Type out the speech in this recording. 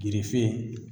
Yirifin